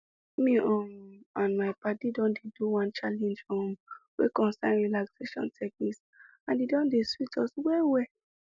me um and my padi don dey do one challenge um wey concern relaxation technique and e don dey sweet us well well